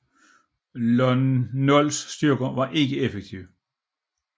Lon Nols styrker var ikke effektive